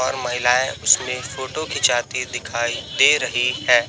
और महिलाएं उसमें फोटो खींचाती दिखाई दे रही है।